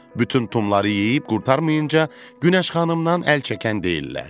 Bütün tumları yeyib qurtarmayınca Günəş xanımdan əl çəkən deyillər.